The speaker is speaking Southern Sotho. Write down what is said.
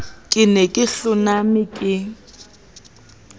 ke ne ke hloname ke